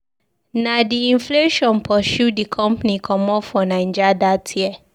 Na di inflation pursue di company comot from Naija dat year.